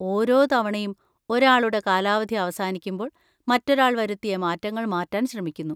ഓരോ തവണയും ഒരാളുടെ കാലാവധി അവസാനിക്കുമ്പോൾ, മറ്റൊരാൾ വരുത്തിയ മാറ്റങ്ങൾ മാറ്റാൻ ശ്രമിക്കുന്നു.